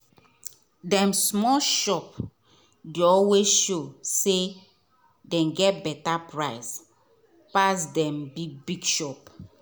dem small shop dey always show say dem get beta price pass dem big big shop.